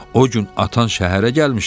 O gün atan şəhərə gəlmişdi.